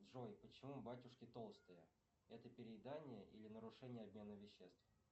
джой почему батюшки толстые это переедание или нарушение обмена веществ